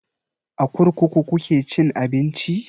A kurkuku kuke cin abinci?